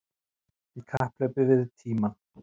Í kapphlaupi við tímann